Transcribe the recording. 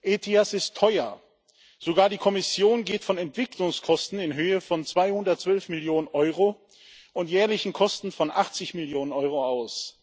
ETIAS ist teuer Sogar die Kommission geht von Entwicklungskosten in Höhe von 212 Millionen Euro und jährlichen Kosten von 80 Millionen Euro aus.